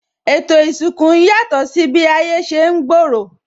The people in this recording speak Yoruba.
Ètò isinku ń yàtò si bi ayé ṣe ń gbooro